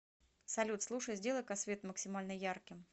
салют слушай сделай ка свет максимально ярким